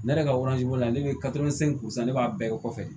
Ne yɛrɛ ka ne bɛ ne b'a bɛɛ kɛ kɔfɛ